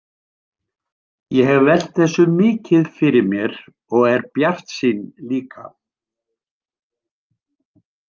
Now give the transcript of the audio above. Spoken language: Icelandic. Ég hef velt þessu mikið fyrir mér og er bjartsýn líka.